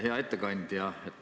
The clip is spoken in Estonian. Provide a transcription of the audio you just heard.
Hea ettekandja!